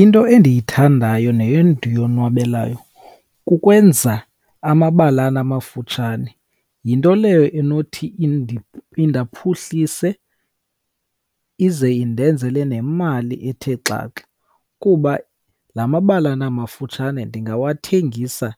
Into endiyithandayo nendiyonwabelayo kukwenza amabalana amafutshane. Yinto leyo enothi indaphuhlise, ize indenzele nemali ethe xaxa, kuba la mabalana mafutshane ndingawathengisa,